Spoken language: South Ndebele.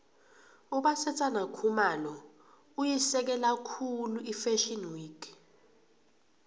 ubasetsana khumalo uyisekela khulu ifashio week